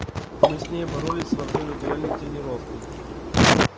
мы с ней боролись во время дуэльной тренировки